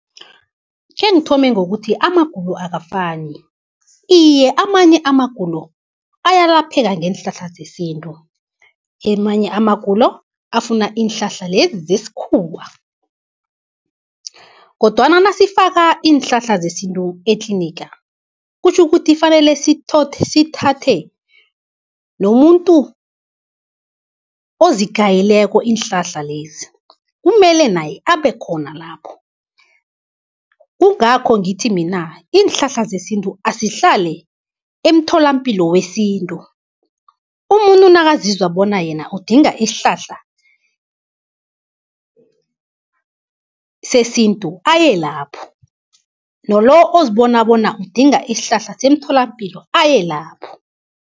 Khengithome ngokuthi amagulo akafani, iye amanye amagulo ayalapheka ngeenhlahla zesintu. Amanye amagulo afuna iinhlahla lezi zesikhuwa. Kodwana nasifaka iinhlahla zesintu etliniga kutjho ukuthi fanele sithathe nomuntu ozigayileko iinhlahla lezi, kumele naye abe khona lapho. Kungakho ngithi mina iinhlahla zesintu azihlale emtholampilo wesintu, umuntu nakazizwa bona yena udinga isihlahla sesintu aye lapho, nalo ozibona bona udinga isihlahla semtholampilo aye lapho.